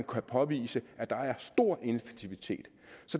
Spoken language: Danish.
kan påvises at der er stor ineffektivitet